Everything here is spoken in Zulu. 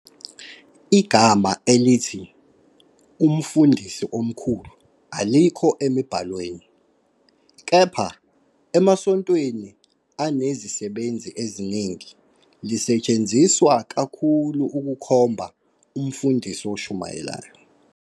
Igama elithi "Umfundisi Omkhulu" alikho emibhalweni, kepha - emasontweni anezisebenzi eziningi - lisetshenziswa kakhulu ukukhomba umfundisi oshumayelayo.